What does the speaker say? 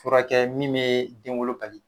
Furakɛ min bɛ denwolo bali